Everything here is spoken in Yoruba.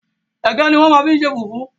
Ẹ̀gẹ́ ní wọ́n máa ń fi ṣe fùfú